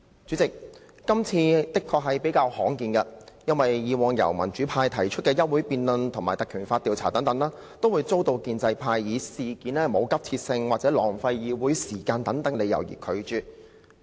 主席，今次確實較為罕見，因為以往民主派提出的休會待續議案及以《立法會條例》動議的議案，均會遭建制派以事件沒有急切性或浪費議會時間為由而拒絕。